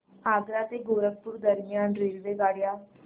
आग्रा ते गोरखपुर दरम्यान रेल्वेगाड्या